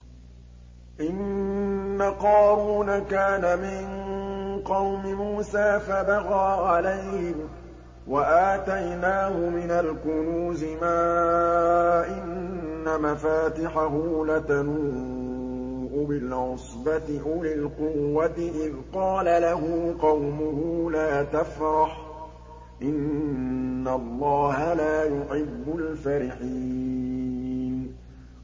۞ إِنَّ قَارُونَ كَانَ مِن قَوْمِ مُوسَىٰ فَبَغَىٰ عَلَيْهِمْ ۖ وَآتَيْنَاهُ مِنَ الْكُنُوزِ مَا إِنَّ مَفَاتِحَهُ لَتَنُوءُ بِالْعُصْبَةِ أُولِي الْقُوَّةِ إِذْ قَالَ لَهُ قَوْمُهُ لَا تَفْرَحْ ۖ إِنَّ اللَّهَ لَا يُحِبُّ الْفَرِحِينَ